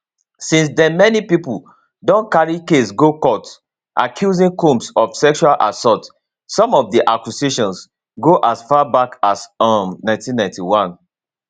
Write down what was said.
since den many pipo don carry case go court accusing combs of sexual assault some of di accusations go as far back as um 1991